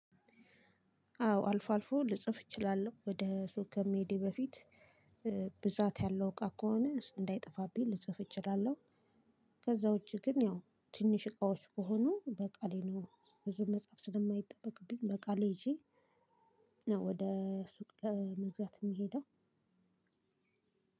አዎ አልፎ አልፎ ልጽፍ እችላለሁ። ወደ ሱቅ ከመሄዴ በፊት ብዛት ያለው እቃ ከሆነ እሱ እንዳይጠፋብኝ ልጽፍ እችላለሁ። ከዛ ውጪ ግን ያው ትንሽ እቃዎች ከሆኑ በቃሌ ነው ብዙ መጻፍ ስለማይጠበቅብኝ በቃሌ ይዤ ወደ ሱቅ ለመግዛት የምሄደው።